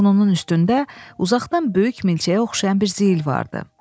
Burnunun üstündə uzaqdan böyük milçəyə oxşayan bir zeyl vardı.